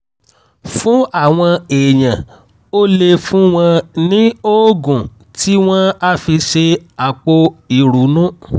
fún àwọn èèyàn o lè fún wọn ní oògùn tí wọ́n á fi ṣe àpò ìrunú